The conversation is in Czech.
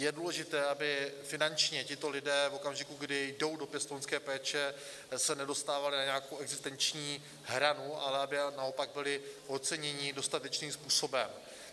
Je důležité, aby finančně tito lidé v okamžiku, kdy jdou do pěstounské péče, se nedostávali na nějakou existenční hranu, ale aby naopak byli oceněni dostatečným způsobem.